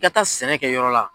I ka taa sɛnɛ kɛ yɔrɔ la.